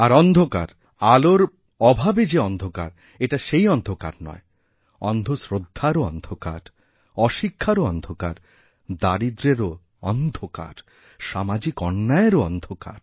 আর অন্ধকার আলোর অভাবেযে অন্ধকার এটা সেই অন্ধকার নয় অন্ধ শ্রদ্ধারও অন্ধকার অশিক্ষারও অন্ধকার দারিদ্র্যেরওঅন্ধকার সামাজিক অন্যায়েরও অন্ধকার